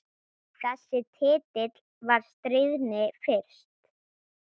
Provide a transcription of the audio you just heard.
Þessi titill var stríðni fyrst.